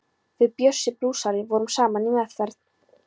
Við Bjössi blúsari vorum saman í meðferð.